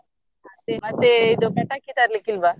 ಅದೆ ಮತ್ತೆ ಪಟಾಕಿ ತರ್ಲಿಕ್ಕೆ ಇಲ್ವಾ?